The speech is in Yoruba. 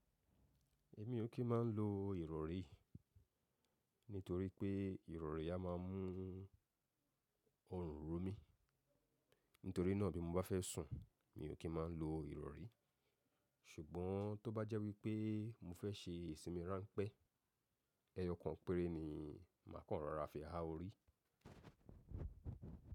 Èmi ò kí ń máa ń lo ìrọ̀rí, nítorí pé ìrọ̀rí a máa mú ọrùn ro mí. Nítorí náà bí mo bá fẹ́ sùn, mi ò kí ń máa ń lo ìrọ̀rí. Ṣùgbọ́n tó bá jẹ́ wípé mo fẹ́ ṣe ìsinmi ráńpẹ́, ẹyọ kan péré ni màá kàn rọra fi ha orí.